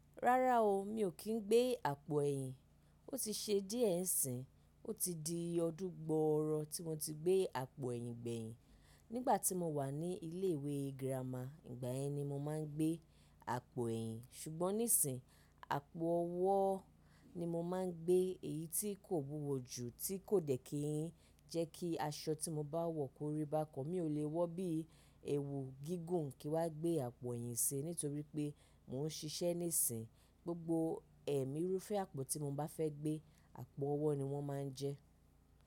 Rárá o, mi ò kí ń gbé àpò ẹ̀yìn. Ó ti ṣe díẹ̀ ń sìn, ó ti di ọdún gbọọrọọ tí mo ti gbé àpò ẹ̀yìn gbẹ̀yìn. Nígbà tí mo wà ní ilé ìwé girama, ìgbà yẹn ni mo máa ń gbé àpò ẹ̀yìn. Ṣùgbọ́n nísìí, àpò ọwọ́ ni mo máa ń gbé, èyí tí kò wúwo jù, tí kò dẹ̀ kí jẹ́ kí aṣọ tí mo bá wọ̀ kórìí bá kan. Mi ò le wọ bí i èwù gígùn kí wá gbé àpò ẹ̀yìn sí, nítorí pé mò ń ṣiṣẹ́ nísìí. Gbogbo ẹ̀mí rúfẹ́ àpò tí mo bá fẹ́ gbé, àpò ọwọ́ ni wọ́n máa ń jẹ́.